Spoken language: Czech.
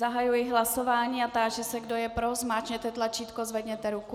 Zahajuji hlasování a táži se, kdo je pro, zmáčkněte tlačítko, zvedněte ruku.